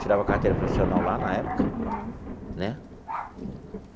Tirava carteira profissional lá na época. Uhum. Né?